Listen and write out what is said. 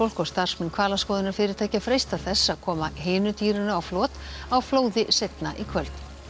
og starfsmenn hvalaskoðunarfyrirtækja freista þess að koma hinu dýrinu á flot á flóði seinna í kvöld